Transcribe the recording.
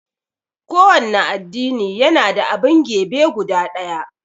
kowanne addini yana da abun gebe guda ɗaya